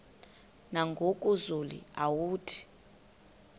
nangoku zulu uauthi